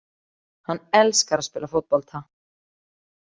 Hann elskar að spila fótbolta